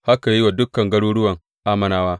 Haka ya yi wa dukan garuruwan Ammonawa.